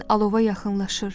Bədənin alova yaxınlaşır.